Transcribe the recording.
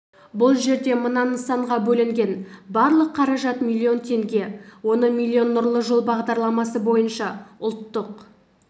бұл жерде мына нысанға бөлінген барлық қаражат миллион теңге оның миллионы нұрлы жол бағдарламасы бойынша ұлттық